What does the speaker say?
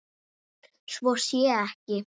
Svo sé ekki.